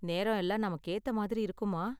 நேரம் எல்லாம் நமக்கு ஏத்த மாதிரி இருக்குமா?